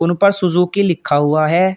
ऊपर सुजुकी लिखा हुआ है।